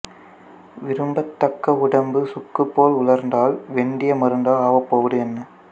விரும்பத் தக்க உடம்பு சுக்கு போல் உலர்ந்தால் வெந்தய மருந்தால் ஆவப்போவது என்ன